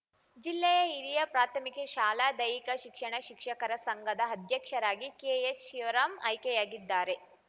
ಜಿಲ್ಲೆಯ ಹಿರಿಯ ಪ್ರಾಥಮಿಕ ಶಾಲಾ ದೈಹಿಕ ಶಿಕ್ಷಣ ಶಿಕ್ಷಕರ ಸಂಘದ ಅಧ್ಯಕ್ಷರಾಗಿ ಕೆಎಚ್‌ಶಿವರಾಂ ಆಯ್ಕೆಯಾಗಿದ್ದಾರೆ